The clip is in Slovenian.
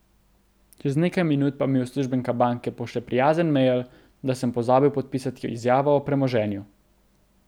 Čez nekaj minut pa mi uslužbenka banke pošlje prijazen mejl, da sem pozabil podpisati izjavo o premoženju.